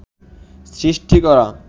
সৃষ্টি করা